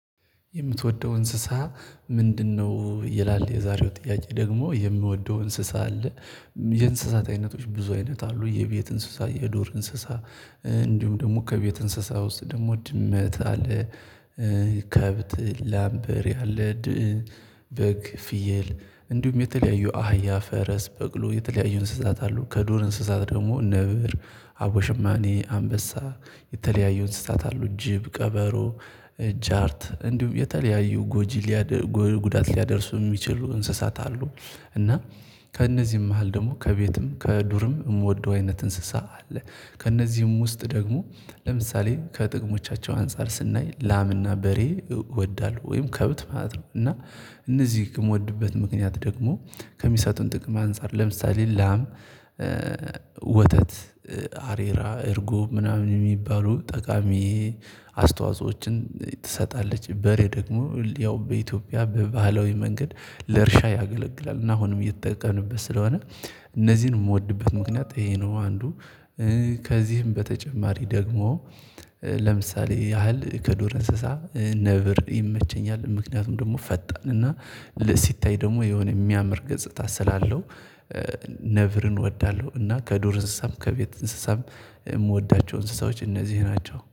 የምትወደው እንስሳ ምንድነው? ይላል የዛሬው ጥያቄ ደግሞ የምወደው እንስሳ አለ። የእንስሳት አይነቶች ብዙ አይነት አሉ የቤት እንስሳ የዱር እንስሳ እንዲሁም ደግሞ ከቤት እንስሳ ውስጥ ደግሞ ድመት አለ። ከብት ላም በሬ ያለ። በግ ፍየል እንዲሁም የተለያዩ አህያ ፈረስ በቅሎ የተለያዩ እንስሳት አሉ። ከዱር እንስሳት ደግሞ ነብር አቦሽማኔ አንበሳ የተለያዩ እንስሳት አሉ ጅብ ቀበሮ ጃርት እንዲሁም የተለያዩ ጎጂ ሊያደርሱ ጉዳት ሊያደርሱ የሚችሉ እንስሳት አሉ። እና ከእነዚህም መሃል ደግሞ ከቤትም ከዱርም የምወደው አይነት እንስሳ አለ። ከእነዚህም ውስጥ ደግሞ ለምሳሌ ከጥቅሞቻቸው አንፃር ስናይ ላምና በሬ እወዳለሁ ወይም ከብት ማለት ነው። እና እነዚህ የምወድበት ምክንያት ደግሞ ከሚሰጡን ጥቅም አንፃር ለምሳሌ ላም ወተት አሬራ እርጎብ ምናምን የሚባሉ ጠቃሚ አስተዋጾዎችን ትሰጣለች። በሬ ደግሞ ያው በኢትዮጵያ በባህላዊ መንገድ ለእርሻ ያገለግላል እና አሁንም እየተጠቀምንበት ስለሆነ። እነዚህን የምወድበት ምክንያት ይሄ ነው አንዱ። ከዚህም በተጨማሪ ደግሞ ለምሳሌ ያህል ከዱር እንስሳ ነብር ይመቸኛል ምክንያቱም ደግሞ ፈጣን እና ሲታይ ደግሞ የሆነ የሚያምር ገጽታ ስላለው። ነብርን እወዳለሁ እና ከዱር እንስሳም ከቤት እንስሳም የምወዳቸው እንስሳዎች እነዚህ ናቸው